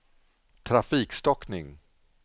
trafikstockning